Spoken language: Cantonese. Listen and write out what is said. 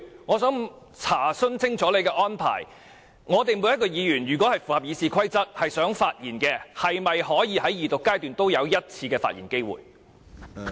我想查問清楚你的安排，我們每名議員如果符合《議事規則》發言，是否都可以在二讀階段有1次發言機會？